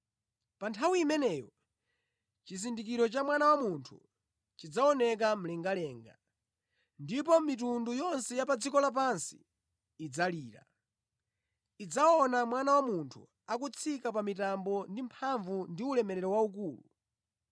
“Pa nthawi imeneyo chizindikiro cha Mwana wa Munthu chidzaoneka mlengalenga, ndipo mitundu yonse ya pa dziko lapansi idzalira. Idzaona Mwana wa Munthu akubwera ndi mitambo, mphamvu ndi ulemerero waukulu.